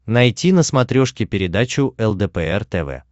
найти на смотрешке передачу лдпр тв